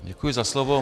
Děkuji za slovo.